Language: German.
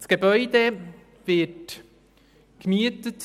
Das Gebäude wird vom Bund gemietet;